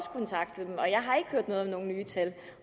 hørt noget om nogen nye tal